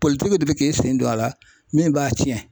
Politiki de bi k'i sen don a la min b'a cɛn.